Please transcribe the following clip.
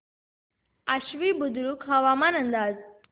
आश्वी बुद्रुक हवामान अंदाज